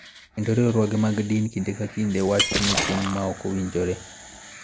Kendo riwruoge mag din kinde ka kinde wacho ni tim ma ok owinjore .